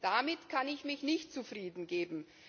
Damit kann ich mich nicht zufriedengeben!